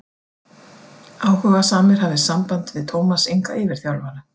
Þá eru fjórir knastásar á vélinni.